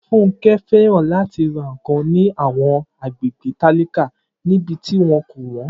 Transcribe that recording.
Funke fẹ́ràn láti ra nkan ní àwọn agbègbè tálákà níbi tí wọn kò wọ́n.